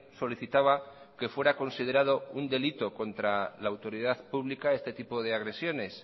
solicitaba que fuera considerado un delito contra la autoridad pública este tipo de agresiones